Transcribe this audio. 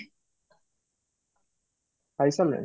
ଖାଇ ସାରିଲେଣି?